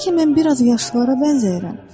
Bəlkə mən biraz yaşlılara bənzəyirəm.